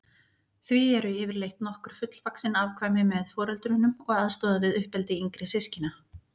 Því eru yfirleitt nokkur fullvaxin afkvæmi með foreldrunum og aðstoða við uppeldi yngri systkina.